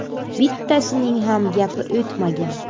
Bittasining ham gapi o‘tmagan.